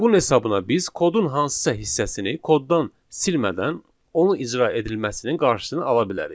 Bunun hesabına biz kodun hansısa hissəsini koddan silmədən onu icra edilməsinin qarşısını ala bilərik.